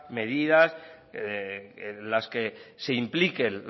medidas en las que se impliquen